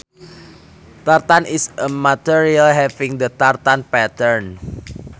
Tartan is a material having the tartan pattern